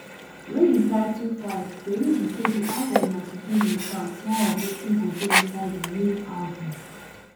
wey im title 5ive tori be say di album na to give im fans small of wetin go dey inside di main album